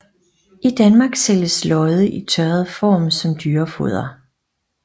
I Danmark sælges lodde i tørret form som dyrefoder